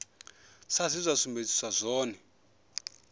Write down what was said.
sa zwe zwa sumbedziswa zwone